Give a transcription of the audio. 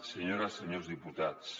senyores i senyors diputats